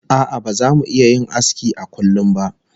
A'a baza mu iya yin aski a kullum ba